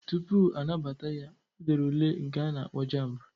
Tupu anabata ya, o dere ule nke a na-akpọ JAMB.